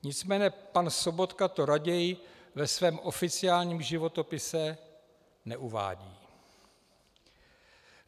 Nicméně pan Sobotka to raději ve svém oficiálním životopise neuvádí.